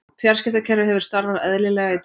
Fjarskiptakerfið hefur starfað eðlilega í dag